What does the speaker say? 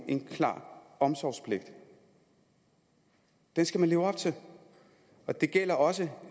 en klar omsorgspligt og den skal man leve op til og det gælder også